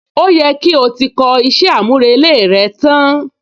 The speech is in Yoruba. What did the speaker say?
Ó yẹ kí o ti kọ iṣẹ́ àmúrelé rẹ tán!